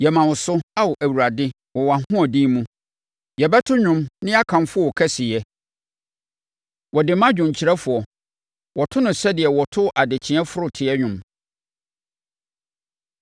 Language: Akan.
Yɛma wo so, Ao Awurade, wɔ wʼahoɔden mu; yɛbɛto nnwom na yɛakamfo wo kɛseyɛ. Wɔde ma dwomkyerɛfoɔ. Wɔto no sɛdeɛ wɔto “Adekyeeɛ foroteɛ” dwom.